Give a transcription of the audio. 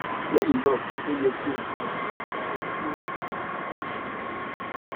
lẹyìn náà o yẹ kí o gba ìtọjú gẹgẹ bí ó bí ó ṣe yẹ